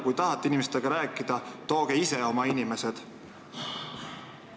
Kui te tahate inimestega rääkida, tooge ise oma inimesed.